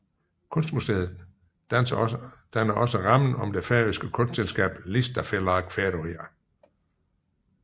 Kunstmuseet danner også rammen om det færøske kunstselskab Listafelag Føroya